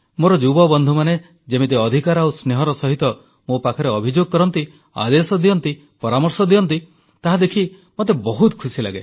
ମୋର ଯୁବବନ୍ଧୁମାନେ ଯେମିତି ଅଧିକାର ଆଉ ସ୍ନେହର ସହିତ ମୋ ପାଖରେ ଅଭିଯୋଗ କରନ୍ତି ଆଦେଶ ଦିଅନ୍ତି ପରାମର୍ଶ ଦିଅନ୍ତି ତାହା ଦେଖି ମୋତେ ବହୁତ ଖୁସି ଲାଗେ